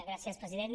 gràcies president